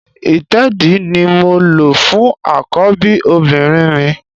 Ìtẹ́ẹ̀dí ni mo lò fún àkọ́bí obìnrin mi